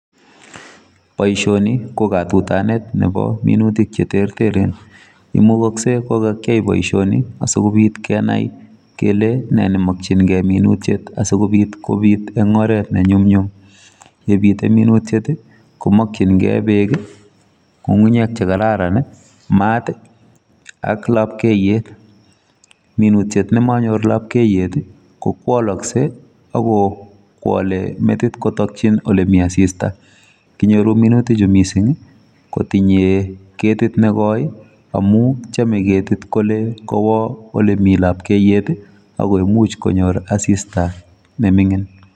Poishoniii kokatutanet cheter Ter asikopit Kenai poishoni asigopit Kenai kolee neee nemakchin keii minutik minutyet komeche Maat nekararan AK asista me mingin